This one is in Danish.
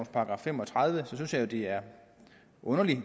§ fem og tredive synes at det er underligt at